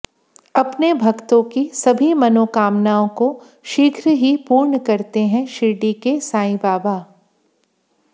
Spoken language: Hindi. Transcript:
अपने भक्तों की सभी मनोकामनाओं को शीघ्र ही पूर्ण करते हैं शिर्डी के साईं बाबा